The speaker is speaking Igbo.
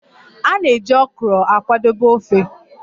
A na-eji Okro akwadebe ofe